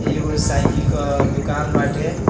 इ एगो साइकिल क दुकान बाटे।